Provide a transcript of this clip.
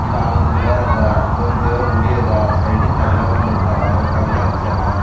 ಇಲ್ಲಿ ಆಲದ ಗಿಡದ ಆದ ಇದ ಒಂದು ದೇವರ ಗುಡಿ ಅದ ಸೈಡ್ ಗ್ ತಗಡ ಒಂದು ಇಟ್ಟರೆ ತಗಡ ಹಚ್ಚರಾ.